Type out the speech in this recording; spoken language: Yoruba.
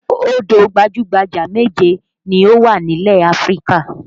Odò gbajú-gbajà méje ni ó wà nílẹ̀ Áfríkà